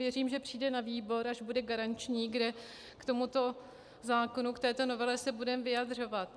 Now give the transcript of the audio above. Věřím, že přijde na výbor, až bude garanční, kde k tomuto zákonu, k této novele se budeme vyjadřovat.